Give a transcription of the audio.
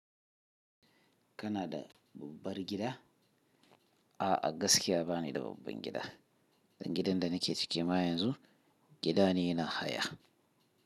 Kana da babbar gida? A'a, gaskiya ba ni da babban gida. Gidan da nake ciki ma yanzu, gida ne na haya.